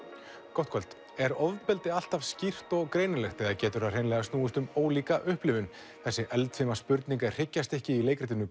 gott kvöld er ofbeldi alltaf skýrt og greinilegt eða getur það hreinlega snúist um ólíka upplifun þessi eldfima spurning er hryggjarstykki í leikritinu